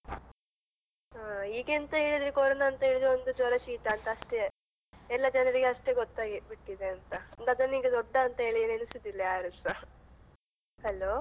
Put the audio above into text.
ಈಗೆಂತ ಹೇಳಿದ್ರೆ corona ಅಂತ ಹೇಳಿದ್ರೆ ಒಂದ್ ಜ್ವರ ಶೀತ ಅಂತ ಅಷ್ಟೇ ಎಲ್ಲ ಜನ್ರಿಗೆ ಅಷ್ಟೇ ಗೊತ್ತಾಗಿಬಿಟ್ಟಿದೆ ಅಂತ ಅದನ್ನೀಗ ದೊಡ್ಡ ಅಂತ ಹೇಳಿ ಎಣಿಸುದಿಲ್ಲ ಯಾರೂಸ hello .